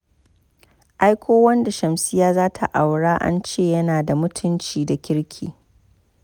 Ai ko wanda Shamsiyya za ta aura an ce yana da mutunci da kirki.